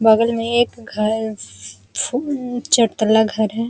बगल में एक घर छू उ उ चरतल्ला घर है।